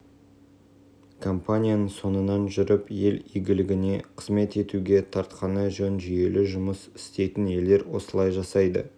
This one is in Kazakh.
сыртқы сауда мен инвестиция бірге болуы керек бізде сауда бір министрлікте инвестициялар басқа министрлікте біреудің әр